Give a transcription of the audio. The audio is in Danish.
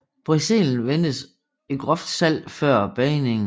Brezelen vendes i groft salt før bagningen